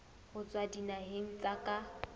ho tswa dinaheng tsa ka